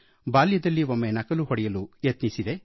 ಬಾಲ್ಯದಲ್ಲಿ ಒಮ್ಮೆ ನಕಲು ಹೊಡೆಯಲು ಯತ್ನಿಸಿದ್ದೆ